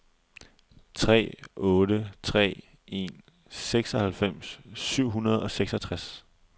tre otte tre en seksoghalvfems syv hundrede og seksogtres